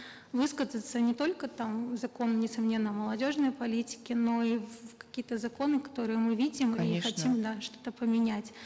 высказаться не только там закон несомненно молодежной политики но и в какие то законы которые мы видим и хотим да что то поменять